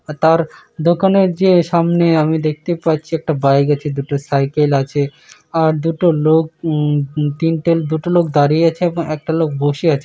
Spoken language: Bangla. আর তার দোকানের যে সামনে আমি দেখতে পাচ্ছি একটা বাইক আছে দুটো সাইকেল আছে আর দুটো লোক উম-ম উম তিনটে দুটো লোক দাঁড়িয়ে আছে এবং একটা লোক বসে আছে।